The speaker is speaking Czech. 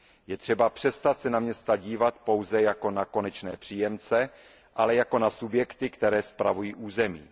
Je třeba přestat se na města dívat pouze jako na konečné příjemce, ale jako na subjekty, které spravují území.